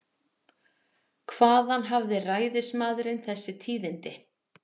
Hvaðan hafði ræðismaðurinn þessi tíðindi?